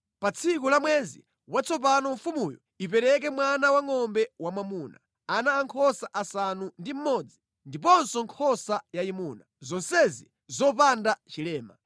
Pa tsiku la mwezi watsopano mfumuyo ipereke mwana wangʼombe wamwamuna, ana ankhosa asanu ndi mmodzi ndiponso nkhosa yayimuna, zonsezi zopanda chilema.